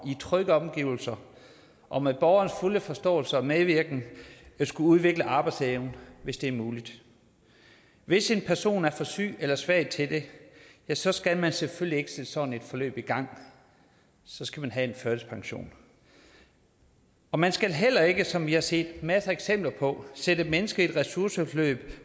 i trygge omgivelser og med borgerens fulde forståelse og medvirken at udvikle arbejdsevnen hvis det er muligt hvis en person er for syg eller svag til det ja så skal man selvfølgelig ikke sætte sådan et forløb i gang så skal vedkommende have en førtidspension og man skal heller ikke som vi har set masser eksempler på sætte mennesker i et ressourceforløb